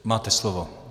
Máte slovo.